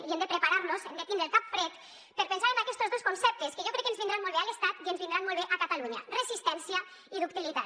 i hem de preparar nos hem de tindre el cap fred per pensar en aquestos dos conceptes que jo crec que ens vindran molt bé a l’estat i ens vindran molt bé a catalunya resistència i ductilitat